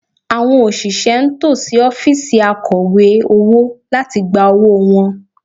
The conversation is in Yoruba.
Àwọn òṣìṣẹ́ ń tò sí ọ́fíìsì Akọ̀wé owó láti gba owó wọn